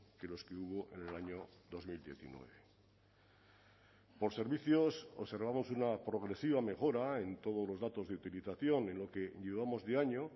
que los que hubo en el año dos mil diecinueve por servicios observamos una progresiva mejora en todos los datos de utilización en lo que llevamos de año